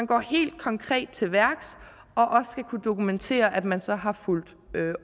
gå helt konkret til værks og også kunne dokumentere at man så har fulgt